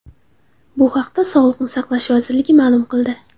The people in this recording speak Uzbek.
Bu haqda Sog‘liqni saqlash vazirligi ma’lum qildi .